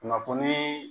Kunnafonii